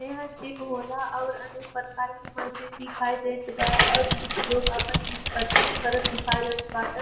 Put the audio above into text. यहां जिम हो ला और अनेक प्रकार के मशीन दिखई देत बा और कुछ लोग आपन जिम कर करत दिखई देत बांटे।